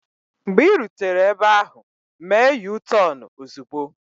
Mgbe ị rutere ebe ahụ, mee yutọonu ozugbo!